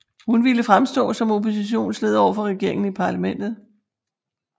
Hun ville fremstå som oppositionsleder overfor regeringen i parlamentet